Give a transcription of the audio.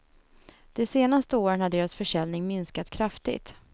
De senaste åren har deras försäljning minskat kraftigt.